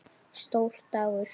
Stór dagur?